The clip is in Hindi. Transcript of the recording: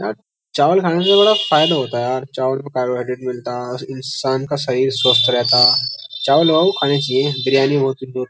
यार चावल खाने से बड़ा फायदा होता है यार चावल में कार्बोहाइड्रेट मिलता है इंसान का शरीर स्वस्थ रहता है चावल खाने चाहिए बिरयानी बहुत --